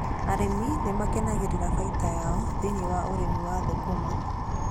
Arĩmi nĩ makenagĩra baita yao thĩiniĩ wa ũrĩmi wa thũkũma.